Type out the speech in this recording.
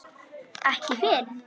Ekki fyrr?